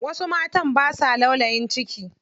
Wasu matan basa laulayin ciki.